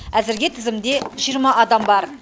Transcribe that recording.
әзірге тізімде жиырма адам бар